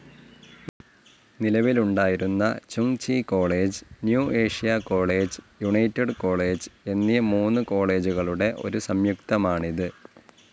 നിലവിലുണ്ടായിരുന്ന Chung Chi college, New Asia college, United college എന്നീ മൂന്നു കോളേജുകളുടെ ഒരു സംയുക്തമാണിത്.